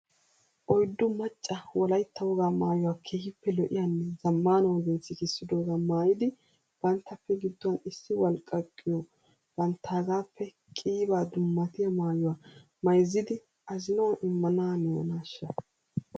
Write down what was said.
Oyddu macca wolaitta wogaa maayuwaa keehiippe lo'iyannw zamaana ogiyan sikissidoogaa maayidi banttappe giduwaan issi walqqaqqiyo banttaagaappe qiibaa dummatiyaa maayuwaa mayzzidi azinawu immanaaniyonaashsha?